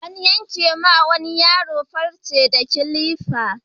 An yanke wa wani yaro farce da kilifa.